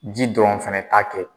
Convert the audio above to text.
Ji dɔrɔn fana t'a kɛ